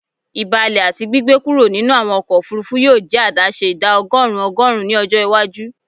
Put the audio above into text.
Ibalẹ ati gbigbe kuro ninu awọn ọkọ ofurufu yoo jẹ adaṣe ida ọgọrun ọgọrun ni ọjọ iwaju